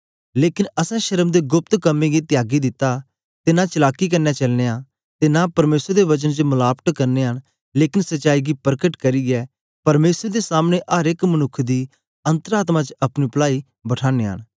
लेकन असैं शर्म दे गोप्त कम्में गी त्यागी दित्ता ते नां चलाकी कन्ने चलनयां ते नां परमेसर दे वचन च मलावट करनयां न लेकन सच्चाई गी परकट करियै परमेसर दे सामने अर एक मनुक्ख दी अन्तर आत्मा च अपनी पलाई बठानयां न